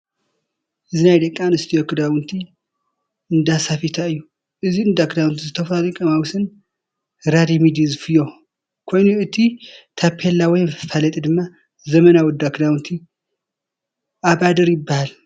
እዚ ናይ ደቂ ኣነስትዮ እንዳክዳውንቲ እንዳሰፋይታ እዩ። እዚ እንዳክዳውንቲ ዝተፈላለዩ ቀማውሽን ረዲመዲ ዝፈዮ ኮይኑ እቲ ታፔላ ወይ መፋለጢ ድማ ዘመናዊ እንዳክዳውንቲ ኣባድር ይናሃል።